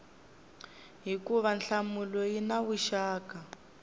hikuva nhlamulo yi na vuxaka